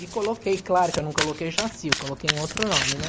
E coloquei, claro que eu não coloquei Jacy, eu coloquei em outro nome, né?